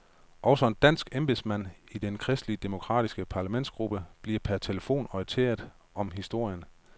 Også en dansk embedsmand i den kristelige demokratiske parlamentsgruppe bliver per telefon orienteret om historien.